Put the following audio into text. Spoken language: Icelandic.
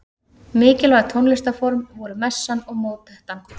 Mikilvæg tónlistarform voru messan og mótettan.